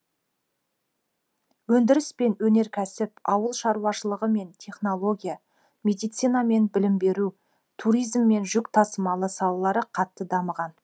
өндіріс пен өнеркәсіп ауыл шаруашылығы мен технология медицина мен білім беру туризм мен жүк тасымалы салалары қатты дамыған